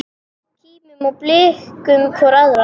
Kímum og blikkum hvor aðra.